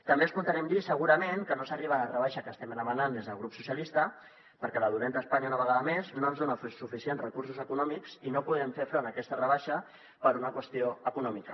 també escoltarem dir segurament que no s’arriba a la rebaixa que estem demanant des del grup socialistes perquè la dolenta espanya una vegada més no ens dona suficients recursos econòmics i no podem fer front a aquesta rebaixa per una qüestió econòmica